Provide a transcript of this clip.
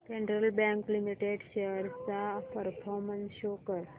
federal bank limited shares चा performance show कर